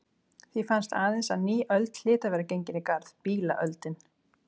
Því fannst aðeins að ný öld hlyti að vera gengin í garð: Bílaöldin.